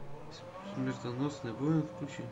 смертоносный воин включи